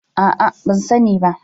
A'a, ban sani ba.